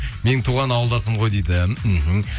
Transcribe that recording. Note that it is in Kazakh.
менің туған ауылдасым ғой дейді мхм